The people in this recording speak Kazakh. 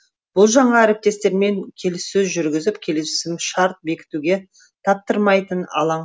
бұл жаңа әріптестермен келіссөз жүргізіп келісімшарт бекітуге таптырмайтын алаң